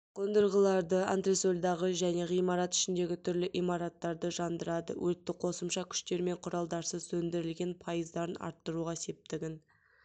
қондырғыларды антресольдағы және ғимарат ішіндегі түрлі имараттарды жандырады өртті қосымша күштер мен құралдарсыз сөндірілген пайыздарын арттыруға септігін